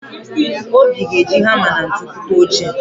Obi ga-eji hama na ntu kụta oche.